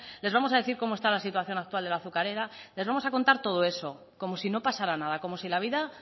les vamos a decir cómo está la situación actual de la azucarera les vamos a contar todo eso como si no pasara nada como si la vida